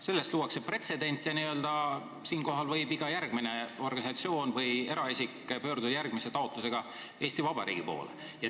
Sellega luuakse pretsedent ja mis tahes järgmine organisatsioon või eraisik võib järgmise samasisulise taotlusega Eesti Vabariigi poole pöörduda.